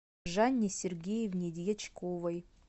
жанне сергеевне дьячковой